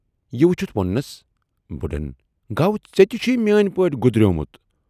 یہِ وُچھِتھ وونُس بُڈن گَو ژیتہِ چھُے میٲنۍ پٲٹھۍ گُدریومُت